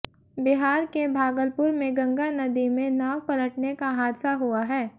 बिहार के भागलपुर में गंगा नदी में नाव पलटने का हादसा हुआ है